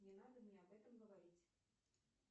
не надо мне об этом говорить